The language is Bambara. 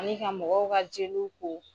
Ani ka mɔgɔw ka jeliw ko